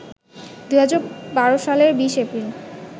২০১২ সালের ২০ এপ্রিল